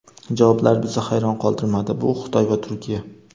Javoblar bizni hayron qoldirmadi - bu Xitoy va Turkiya.